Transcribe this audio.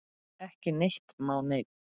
Ekki neitt má neinn!